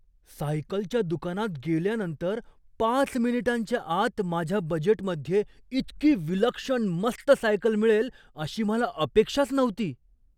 सायकलच्या दुकानात गेल्यानंतर पाच मिनिटांच्या आत माझ्या बजेटमध्ये इतकी विलक्षण मस्त सायकल मिळेल अशी मला अपेक्षाच नव्हती.